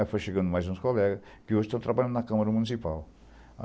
Aí foi chegando mais uns colegas, que hoje estão trabalhando na Câmara Municipal.